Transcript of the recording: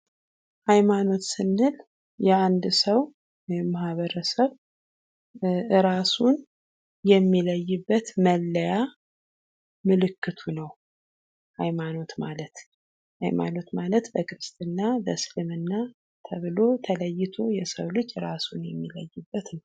ሃይማኖት ስንል የአንድ ሰው ወይም ማህበረሰብ ራሱን የሚለይበት መለያ ምልክቱ ነው ሀይማኖት ማለት። ሃይማኖት ማለት በክርስትና፣ በእስልምና ተብሎ ተለይቶ የሰው ልጅ ራሱን የሚለይበት ነው።